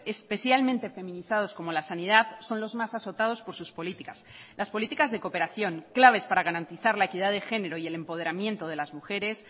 especialmente feminizados como la sanidad son los más azotados por sus políticas las políticas de cooperación claves para garantizar la equidad de genero y el empoderamiento de las mujeres